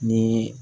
Ni